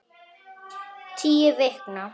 Tíu vikna